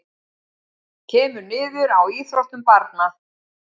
Kemur niður á íþróttum barna